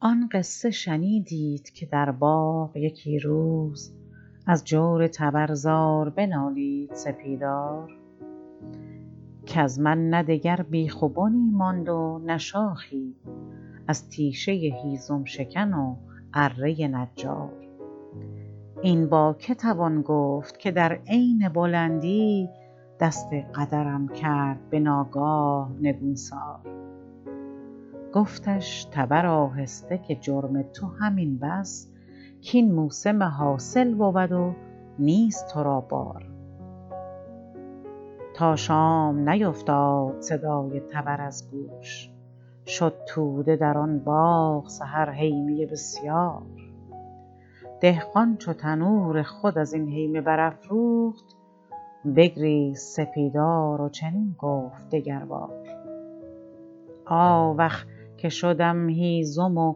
آن قصه شنیدید که در باغ یکی روز از جور تبر زار بنالید سپیدار کز من نه دگر بیخ و بنی ماند و نه شاخی از تیشه هیزم شکن و اره نجار این با که توان گفت که در عین بلندی دست قدرم کرد بناگاه نگونسار گفتش تبر آهسته که جرم تو همین بس کاین موسم حاصل بود و نیست ترا بار تا شام نیفتاد صدای تبر از گوش شد توده در آن باغ سحر هیمه بسیار دهقان چو تنور خود ازین هیمه برافروخت بگریست سپیدار و چنین گفت دگر بار آوخ که شدم هیزم و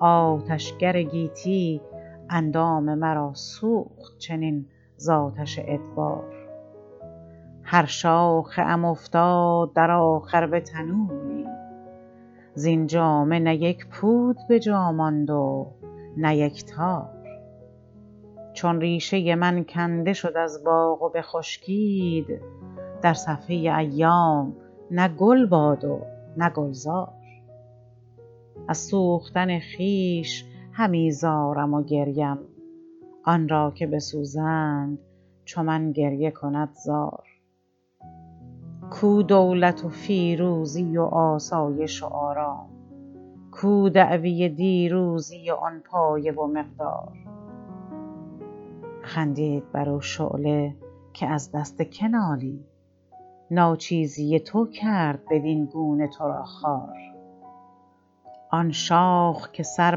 آتشگر گیتی اندام مرا سوخت چنین ز آتش ادبار هر شاخه ام افتاد در آخر به تنوری زین جامه نه یک پود بجا ماند و نه یک تار چون ریشه من کنده شد از باغ و بخشکید در صفحه ایام نه گل باد و نه گلزار از سوختن خویش همی زارم و گریم آن را که بسوزند چو من گریه کند زار کو دولت و فیروزی و آسایش و آرام کو دعوی دیروزی و آن پایه و مقدار خندید برو شعله که از دست که نالی ناچیزی تو کرد بدینگونه تو را خوار آن شاخ که سر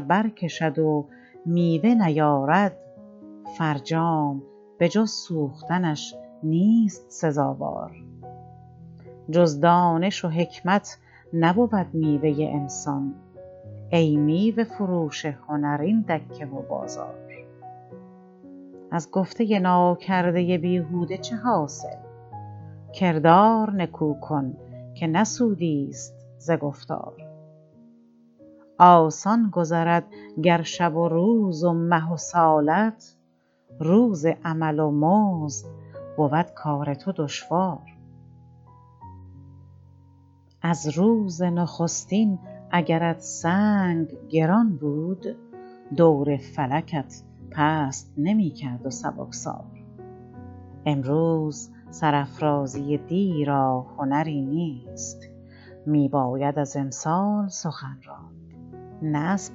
بر کشد و میوه نیارد فرجام به جز سوختنش نیست سزاوار جز دانش و حکمت نبود میوه انسان ای میوه فروش هنر این دکه و بازار از گفته ناکرده بیهوده چه حاصل کردار نکو کن که نه سودیست ز گفتار آسان گذرد گر شب و روز و مه و سالت روز عمل و مزد بود کار تو دشوار از روز نخستین اگرت سنگ گران بود دور فلکت پست نمیکرد و سبکسار امروز سرافرازی دی را هنری نیست میباید از امسال سخن راند نه از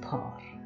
پار